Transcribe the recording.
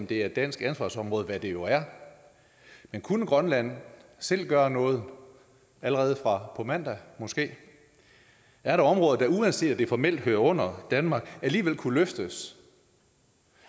det er et dansk ansvarsområde hvad det jo er men kunne grønland selv gøre noget allerede fra på mandag måske er der områder der uanset at det formelt hører under danmark alligevel kunne løftes